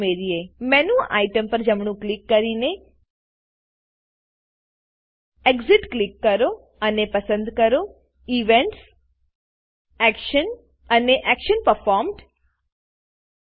મેન્યુટેમ menu item પર જમણું click કરીને એક્સિટ એક્ઝીટ ક્લિક કરો અને પસંદ કરો ઇવેન્ટ્સ ઈવેન્ટ્સ એક્શન એક્શન અને એક્શન પરફોર્મ્ડ એક્શન પરફોર્મ્ડ